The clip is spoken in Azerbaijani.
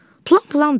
Plan plandır.